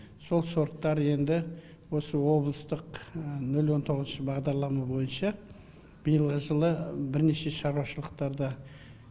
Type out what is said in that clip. сол сорттар енді осы облыстық нөл он тоғызыншы бағдарлама бойынша биылғы жылы бірнеше шаруашылықтарда